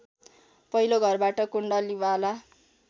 पहिलो घरबाट कुण्डलीवाला